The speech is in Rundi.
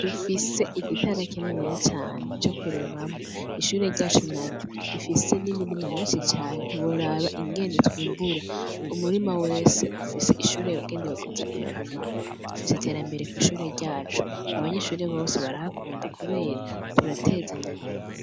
Dufise igitara kininiya cane, co kurimamwo; ishure ryacu naryo rifise n'imirima myinshi cane ntiworaba ingene twimbura; umurima wose ufise ishure yagenewe kuza irarimamwo. Dufise iterambere kw'ishure ryacu; abanyeshure bose barahakunda kubera turatezanya imbere.